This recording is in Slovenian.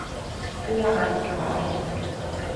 Larifari.